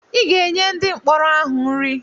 Ị ga-enye ndị mkpọrọ ahụ nri!